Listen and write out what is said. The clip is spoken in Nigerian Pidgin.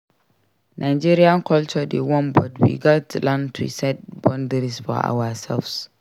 Nigerian culture dey warm but we gats learn to set boundaries for ourselves.